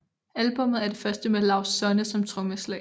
Albummet er det første med Laust Sonne som trommeslager